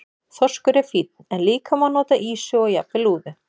Þorskur er fínn en líka má nota ýsu og jafnvel lúðu.